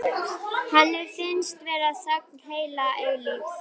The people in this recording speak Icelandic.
Henni finnst vera þögn heila eilífð.